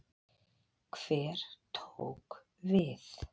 Hver tók við?